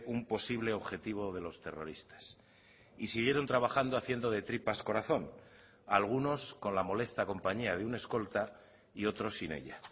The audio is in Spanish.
un posible objetivo de los terroristas y siguieron trabajando haciendo de tripas corazón algunos con la molesta compañía de un escolta y otros sin ella